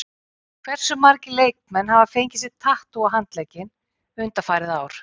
Hversu margir leikmenn hafa fengið sér tattú á handlegginn undanfarið ár?